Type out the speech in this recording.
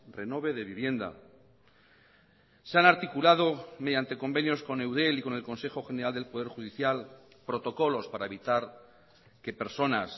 renove de vivienda se han articulado mediante convenios con eudel y con el consejo general del poder judicial protocolos para evitar que personas